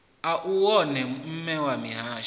u wone mme a mihasho